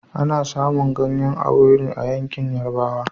Ana samun ganyan owuro a yankin yarabawa